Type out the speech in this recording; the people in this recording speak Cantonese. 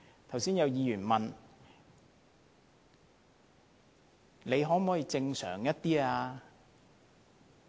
剛才有議員問政府"可否正常一點？